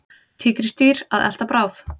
Tígrisdýr að elta bráð.